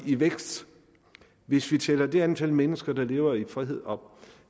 i vækst hvis vi tæller det antal mennesker der lever i frihed op